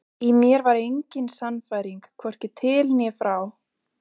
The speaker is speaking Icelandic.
Í mér var engin sannfæring, hvorki til né frá.